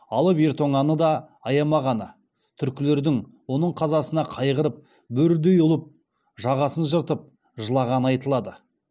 алып ер тонаны да аямағаны түркілердің оның қазасына қайғырып бөрідей ұлып жағасын жыртып жылағаны айтылады